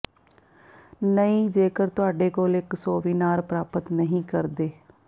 ਨਹੀ ਜੇਕਰ ਤੁਹਾਡੇ ਕੋਲ ਇੱਕ ਸੋਵੀਨਾਰ ਪ੍ਰਾਪਤ ਨਹੀ ਕਰਦੇ